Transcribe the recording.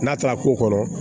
N'a taara ko kɔnɔ